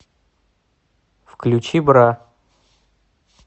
включи бра